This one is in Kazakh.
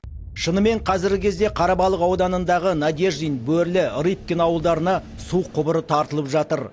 шынымен қазіргі кезде қарабалық ауданындағы надеждин бөрлі рыбкин ауылдарына су құбыры тартылып жатыр